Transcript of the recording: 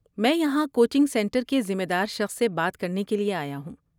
میں یہاں coaching centre کے ذمہ دار شخص سے بات کرنے کے لیے آیا ہوں۔